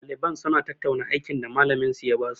Ɗaliban suna tattauna aikin da malamin minsu ya basu.